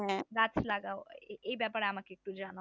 লাগাও এ ব্যাপারে আমাকে একটু জানাও